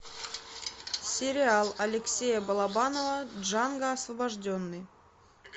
сериал алексея балабанова джанго освобожденный